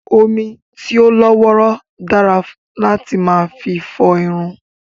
Omi tí ó lọ́ wọ́rọ́ dára láti máa fi fọ irun